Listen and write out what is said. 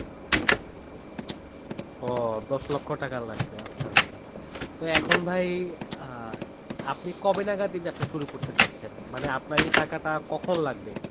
ও দশ লক্ষ টাকা লাগবে আচ্ছা আচ্ছা তো এখন ভাই আহ আপনি কবে নাগাদ এই ব্যবসা শুরু করতে চাচ্ছেন? মানে আপনার এই টাকাটা কখন লাগবে?